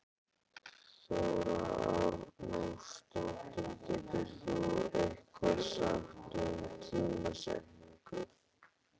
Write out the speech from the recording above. Þóra Arnórsdóttir: Getur þú eitthvað sagt um tímasetningu?